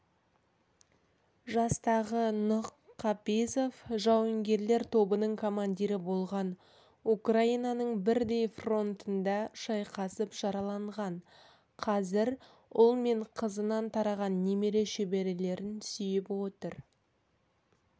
жастағы нұх қапизов жауынгерлер тобының командирі болған украинаның бірдей фронтында шайқасып жараланған қазір ұл мен қызынан тараған немере-шөберелерін сүйіп отыр